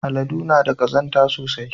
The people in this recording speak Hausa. Aladu na da kazanta sosai.